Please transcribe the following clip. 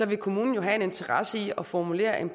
vil kommunen jo have en interesse i at formulere en